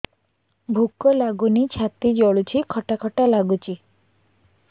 ଭୁକ ଲାଗୁନି ଛାତି ଜଳୁଛି ଖଟା ଖଟା ଲାଗୁଛି